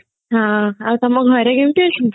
ହଁ ଆଉ ତମ ଘରେ କେମତି ଅଛନ୍ତି